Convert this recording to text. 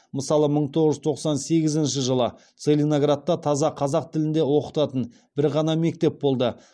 мысалы мың тоғыз жүз тоқсан сегізінші жылы целиноградта таза қазақ тілінде оқытатын бір ғана мектеп болды